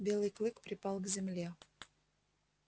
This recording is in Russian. белый клык припал к земле